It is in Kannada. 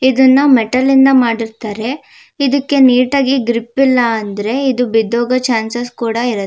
ಇದನ್ನ ಮೆಟಲಿಂದ ಮಾಡಿರತ್ತರೆ ಇದಕ್ಕೆ ನೀಟ್ ಆಗಿ ಗ್ರಿಪ್ ಇಲ್ಲಾ ಅಂದ್ರೆ ಇದು ಬಿದ್ದೋಗೋ ಚಾನ್ಸ್ ಸ್ ಕೂಡ ಇರುತ್ತೆ.